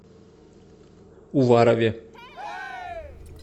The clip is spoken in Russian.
уварове